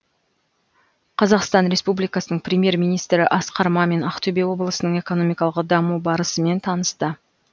қазақстан республикасы премьер министрі асқар мамин ақтөбе облысының экономикалық даму барысымен танысты